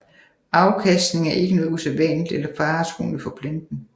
Afkastning er ikke noget usædvanligt eller faretruende for planten